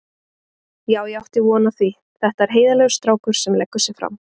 Já ég átti von á því, þetta er heiðarlegur strákur sem leggur sig fram.